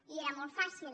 i era molt fàcil